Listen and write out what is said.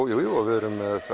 jújú og við erum með